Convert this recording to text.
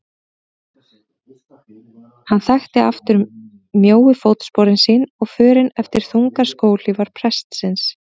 Hann þekkti aftur mjóu fótsporin sín og förin eftir þungar skóhlífar prestsins.